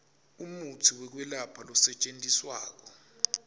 umutsi wekwelapha losetjentiswako